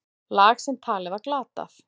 Lag sem talið var glatað.